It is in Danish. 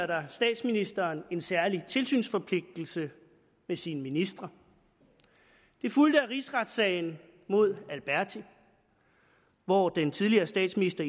der statsministeren en særlig tilsynsforpligtelse med sine ministre det fulgte af rigsretssagen mod alberti hvor den tidligere statsminister